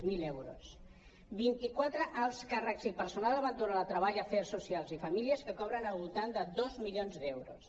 zero euros vint quatre alts càrrecs i personal eventual a treball afers soci·als i famílies que cobren al voltant de dos milions d’euros